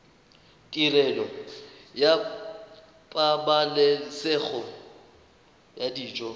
tirelo ya pabalesego ya dijo